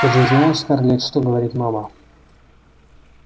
ты же знаешь скарлетт что говорит мама